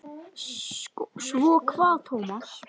Svo kvað Tómas.